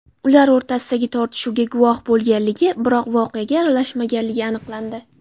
ular o‘rtasidagi tortishuvga guvoh bo‘lganligi, biroq voqeaga aralashmaganligi aniqlandi.